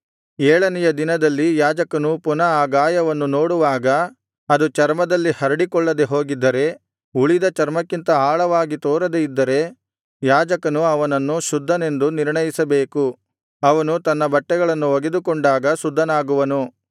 ಏಳನೆಯ ದಿನದಲ್ಲಿ ಯಾಜಕನು ಪುನಃ ಆ ಗಾಯವನ್ನು ನೋಡುವಾಗ ಅದು ಚರ್ಮದಲ್ಲಿ ಹರಡಿಕೊಳ್ಳದೆ ಹೋಗಿದ್ದರೆ ಉಳಿದ ಚರ್ಮಕ್ಕಿಂತ ಆಳವಾಗಿ ತೋರದೆ ಇದ್ದರೆ ಯಾಜಕನು ಅವನನ್ನು ಶುದ್ಧನೆಂದು ನಿರ್ಣಯಿಸಬೇಕು ಅವನು ತನ್ನ ಬಟ್ಟೆಗಳನ್ನು ಒಗೆದುಕೊಂಡಾಗ ಶುದ್ಧನಾಗುವನು